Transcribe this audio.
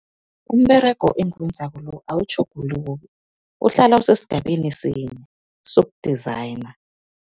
Umberego engiwenzako lo awutjhuguluki, uhlala usesigabeni sinye soku-designer.